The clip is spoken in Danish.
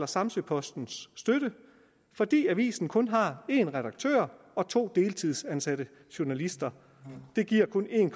samsø posten fordi avisen kun har en redaktør og to deltidsansatte journalister det giver kun en